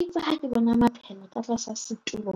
Itse ha ke bona maphela ka tlasa setulo.